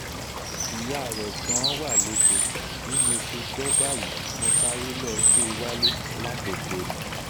ìyá rẹ̀ gan-an wà lóko bí mo ṣe gbọ́ báyìí mo sáré lọ́ọ gbé e wálé látọkọ ni